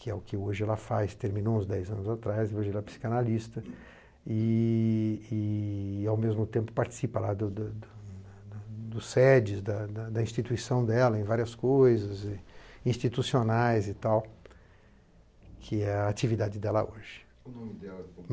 que é o que hoje ela faz, terminou uns dez anos atrás, hoje ela é psicanalista, e e ao mesmo tempo participa lá do do do dos sedes, da da da instituição dela em várias coisas, institucionais e tal, que é a atividade dela hoje.